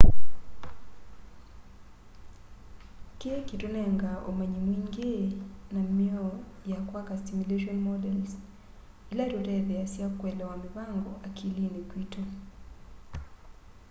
kii kitunengaa umanyi mwingi na mioo ya kwaka stimulation models ila itutetheesya kuelewa mivango akilini kwitu